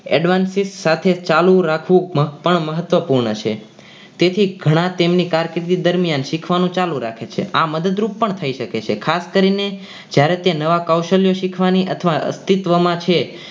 advance સાથે ચાલુ રાખવું પણ મહત્વપૂર્ણ છે તેથી ઘણા તેમની કાળજી કારકિર્દી દરમિયાન રાખવાનું ચાલુ રાખે છે આ મદદરૂપ પણ થઈ શકે છે ખાસ કરીને જ્યારે તે નવા કૌશલ્ય રાખવાની અથવા અસ્તિત્વમાં છે.